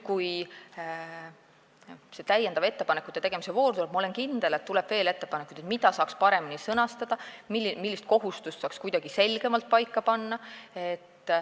Kui tuleb täiendav ettepanekute tegemise voor, siis, ma olen kindel, tuleb veel ettepanekuid selle kohta, mida saaks paremini sõnastada ja millise kohustuse saaks selgemalt paika panna.